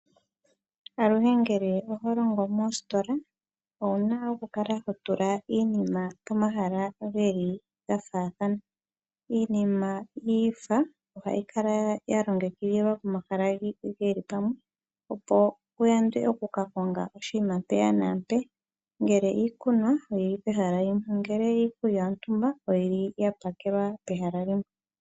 Aluhe ngele oho longo moositola owuna okukala hotula iinima pomahala geli gafaathana. Iinima yiifa ohayi kala yalongekidhilwa pomahala geli pamwe opo kuyandwe okukakonga oshinima mpeya na mpeya, ngele iikunwa oyili pehala limwe na ongele iikulya yontumba oyili yapakwelwa pehala limwe.